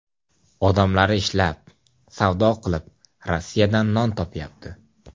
Odamlari ishlab, savdo qilib, Rossiyadan non topyapti.